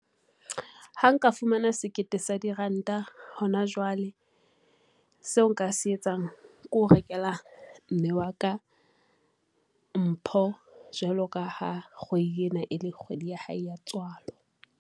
Ha nka fumana sekete sa diranta hona jwale, seo nka se etsang ke ho rekela mme wa ka mpho. Jwalo ka ha kgwedi ena e le kgwedi ya hae ya tswalo,